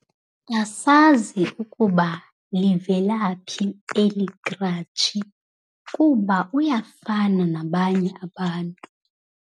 Asazi ukuba livelaphi eli kratshi kuba uyafana nabanye abantu.